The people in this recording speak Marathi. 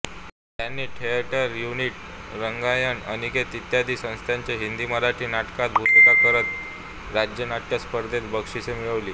त्यांनी थिएटर युनिट रंगायन अनिकेत इत्यादी संस्थांच्या हिंदीमराठी नाटकांत भूमिका करत राज्यनाट्य स्पर्धेत बक्षिसे मिळवली